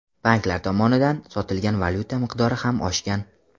Banklar tomonidan sotilgan valyuta miqdori ham oshgan.